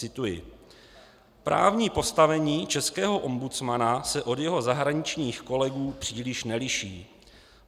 Cituji: "Právní postavení českého ombudsmana se od jeho zahraničních kolegů příliš neliší.